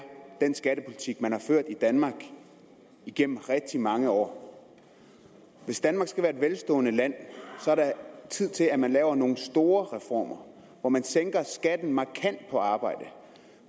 den skattepolitik man har ført i danmark igennem rigtig mange år hvis danmark skal være et velstående land så er det tid til at man laver nogle store reformer hvor man sænker skatten markant på arbejde og